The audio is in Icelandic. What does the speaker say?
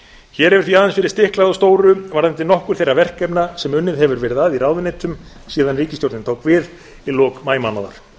hér hefur því aðeins verið stiklað á stóru varðandi nokkur þeirra verkefna sem unnið hefur verið að í ráðuneytunum síðan ríkisstjórnin tók við í lok maímánaðar